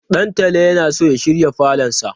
Ɗantala yana so ya shirya falonsa.